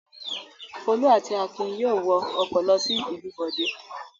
Folú àti Akin yóò wọ ọkọ̀ lọ sí ìlú Bọ̀dé.